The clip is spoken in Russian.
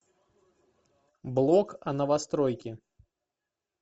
блог о новостройке